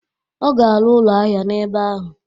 Ọ ga arụ ụlọ ahịa n'ebe ahụ.